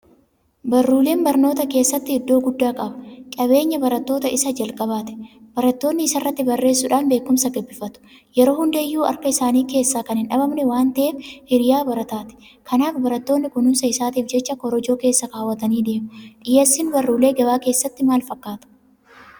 Barulleen barnoota keessatti iddoo guddaa qaba. Qabeenya barattootaa isa jalqabaati. Barattoonni isa irratti barreessuudhaan beekumsa gabbifatu. Yeroo hunda iyyuu harka isaanii keessaa kan hindhabamne waanta'eef hiriyaa barataati. Kanaaf barattoonni kunuunsa isaatiif jecha Korojoo keessa kaawwatanii deemu. Dhiyeessiin Barullee gabaa keessatti maal fakkaata?